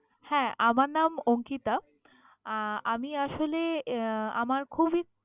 হ্যা, আমার নাম অঙ্কিতা। আহ আমি আসলে এর আমার খুবই